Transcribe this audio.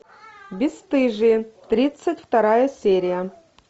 бесстыжие тридцать вторая серия